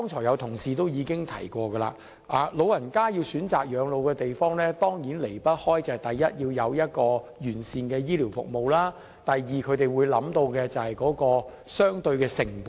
有同事剛才已經提到，長者選擇養老的地方當然離不開：第一，要有完善的醫療服務。第二，他們會考慮相對的成本。